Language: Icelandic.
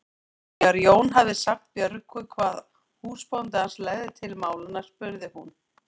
Þegar Jón hafði sagt Björgu hvað húsbóndi hans legði til málanna spurði hún